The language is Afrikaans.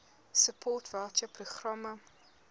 support voucher programme